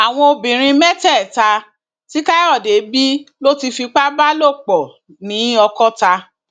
àwọn ọmọbìnrin mẹtẹẹta tí káyọdé bí ló ti fipá bá lò pọ nìjọkọọta